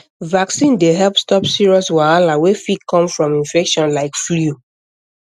vaccine dey help stop serious wahala wey fit come from infection like flu